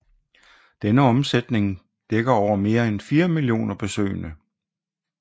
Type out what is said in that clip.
Denne omsætning dækker over mere end fire millioner besøgende